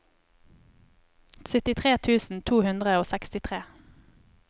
syttitre tusen to hundre og sekstitre